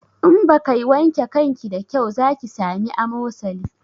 In ba kai wanke kanki da kyau za ki sami amosali